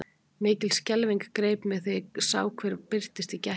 Mikil skelfing greip mig þegar ég sá hver birtist í gættinni.